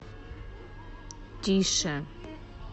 тише